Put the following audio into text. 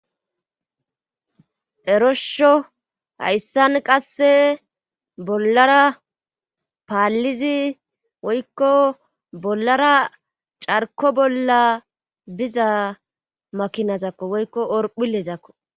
eroshsho hayssan qasse bollara paallizi woykko bollara carko bolla biza makinazakko woykko orphilezakko